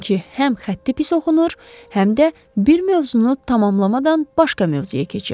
Çünki həm xətti pis oxunur, həm də bir mövzunu tamamlamadan başqa mövzuya keçirdi.